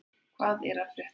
Hvað er að frétta?